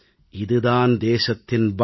இது தான் தேசத்தின் பலம்